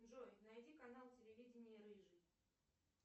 джой найди канал телевидения рыжий